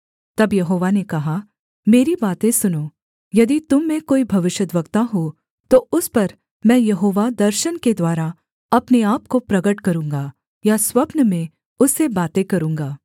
तब यहोवा ने कहा मेरी बातें सुनो यदि तुम में कोई भविष्यद्वक्ता हो तो उस पर मैं यहोवा दर्शन के द्वारा अपने आपको प्रगट करूँगा या स्वप्न में उससे बातें करूँगा